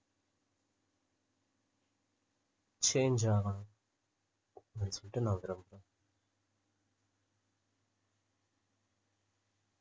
change ஆகணும்